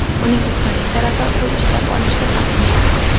Uning ustunlik tarafi pul ishlab olishga ham imkon bergan.